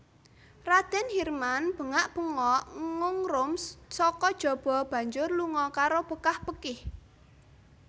Radèn Hirman bengak bengok ngungrum saka jaba banjur lunga karo bekah bekih